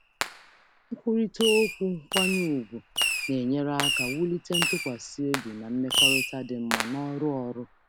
Mmekọrịta nkwanye ùgwù na-enyere aka wulite ntụkwasị obi na mmekọrịta dị mma n’ọrụ ozi.